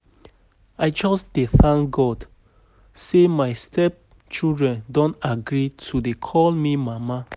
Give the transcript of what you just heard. I just dey um thank um God say my step children don um agree to dey call me mama